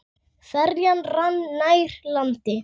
Ferjan rann nær landi.